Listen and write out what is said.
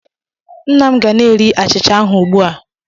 Nna m ga na-eri achịcha ahu ugbu a.